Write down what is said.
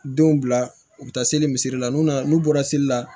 Denw bila u bɛ taa seli misiri la n'u nana n'u bɔra seli la